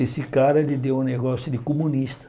Esse cara, ele deu um negócio de comunista.